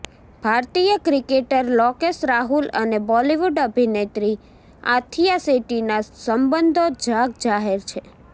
ભારતીય ક્રિકેટર લોકેશ રાહુલ અને બોલીવૂડ અભિનેત્રી આથિયા શેટ્ટીના સંબંધો જગજાહેર છે